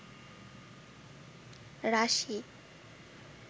রাশি